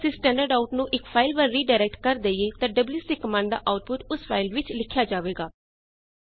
ਪਰ ਜੇ ਅਸੀ ਸਟੈਂਡਰਡਾਊਟ ਨੂੰ ਇਕ ਫਾਈਲ ਵੱਲ ਰੀਡਾਇਰੈਕਟ ਕਰ ਦੇਈਏ ਤਾਂ ਡਬਲਯੂਸੀ ਕਮਾਂਡ ਦਾ ਆਊਟਪੁਟ ਓਸ ਫਾਈਲ ਵਿੱਚ ਲਿਖਿਆ ਜਾਵੇਗਾ